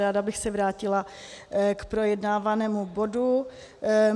Ráda bych se vrátila k projednávanému bodu.